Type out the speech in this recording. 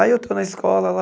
Aí eu estou na escola lá,